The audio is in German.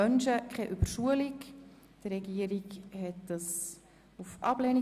Die Regierung beantragt die Ablehnung.